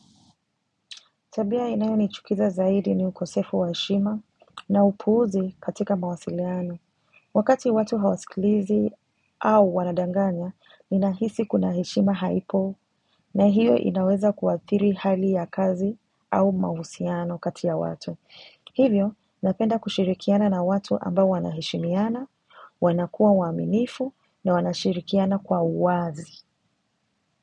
Tabia inayo nichukiza zaidi ni ukosefu wa heshima na upuuzi katika mawasiliano. Wakati watu hawasikilizi au wanadanganya, ninahisi kuna heshima haipo na hiyo inaweza kuathiri hali ya kazi au mahusiano kati ya watu. Hivyo, napenda kushirikiana na watu ambao wanaheshimiana, wanakuwa waaminifu na wanashirikiana kwa uwazi.